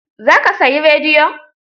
Za ka sayi rediyon?